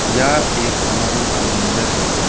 यह एक समारोह का मंजर है।